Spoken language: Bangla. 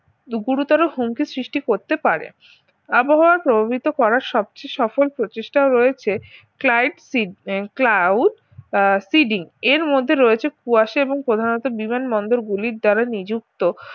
গুরুতর হুমকির সৃষ্টি করতে পারে আবহাওয়া প্রভাবিত করার সবচেয়ে সফল প্রচেষ্টা রয়েছে client seed and cloud আহ seeding এর মধ্যে রয়েছে কুয়াশা এবং প্রধানত বিমানবন্দর গুলির যারা নিযুক্ত